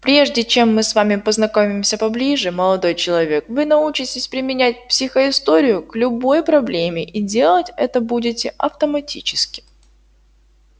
прежде чем мы с вами познакомимся поближе молодой человек вы научитесь применять психоисторию к любой проблеме и делать это будете автоматически